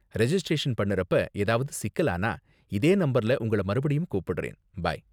Registration பண்ணுறப்ப ஏதாவது சிக்கலானா, இதே நம்பர்ல உங்கள மறுபடியும் கூப்பிடுறேன். பை.